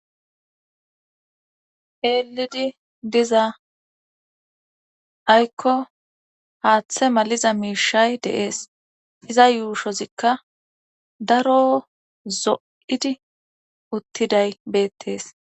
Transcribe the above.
eelidi diza aykko haaththe maliza miishay deees iza yuushozikka daro zo7idi uttiday beettees